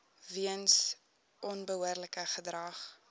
weens onbehoorlike gedrag